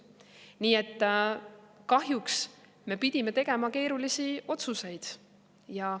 Nii et kahjuks me pidime tegema keerulisi otsuseid.